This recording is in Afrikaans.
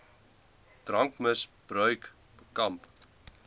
drankmis bruik bekamp